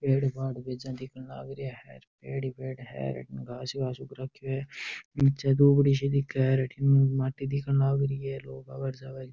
पेड़ पाड़ बेजा दिखन लाग रिया है पेड़ ही पेड़ है हर अठ घास ही घास उग रखो है निचे दुबडि सी दिखे है और अठन माटी दिखन लाग री है लोग आव है र जाव।